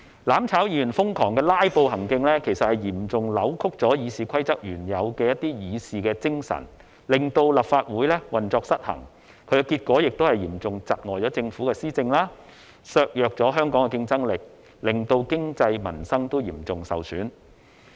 "攬炒"議員瘋狂"拉布"行徑，其實嚴重扭曲《議事規則》原有的議事精神，令立法會運作失衡，結果嚴重窒礙政府的施政，削弱香港競爭力，令經濟和民生均嚴重受損。